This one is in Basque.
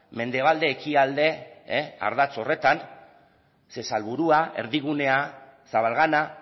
mendebalde ekialde ardatz horretan ze salburua erdigunea zabalgana